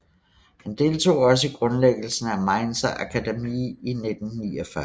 Han deltog også i grundlæggelsen af Mainzer Akademie i 1949